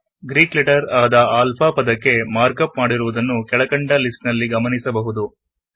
Greek letter ಆದ alpha ಪದಕ್ಕೆ markup ಮಾಡಿರುವುದನ್ನು ಕೆಳಕಂಡ ಲಿಸ್ಟ್ ನಲ್ಲಿ ಗಮನಿಸಬಹುದು